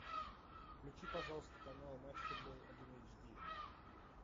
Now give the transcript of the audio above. включи пожалуйста канал матч футбол один эйчди